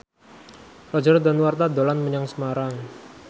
Roger Danuarta dolan menyang Semarang